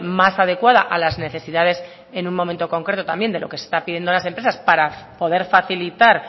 más adecuada a las necesidades en un momento concreto también de lo que se está haciendo en las empresas para poder facilitar